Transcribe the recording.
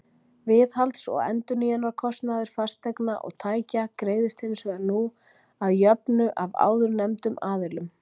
Viðhalds og endurnýjunarkostnaður fasteigna og tækja greiðist hins vegar nú að jöfnu af áðurnefndum aðilum.